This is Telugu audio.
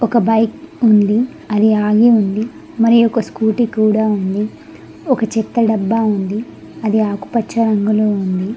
ఒక బైక్ ఉంది అది ఆగి ఉంది మరి ఒక స్కూటీ కూడా ఉంది ఒక చెత్త డబ్బా ఉంది అది ఆకుపచ్చ రంగులో.